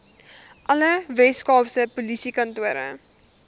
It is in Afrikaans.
alle weskaapse polisiekantore